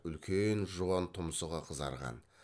үлкен жуан тұмсығы қызарған